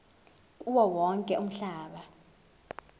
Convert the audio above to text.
kuwo wonke umhlaba